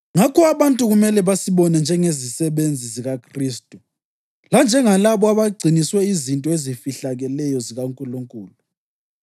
Ngakho abantu kumele basibone njengezisebenzi zikaKhristu lanjengalabo abagciniswe izinto ezifihlakeleyo zikaNkulunkulu.